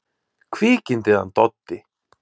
Kvikindið hann Doddi!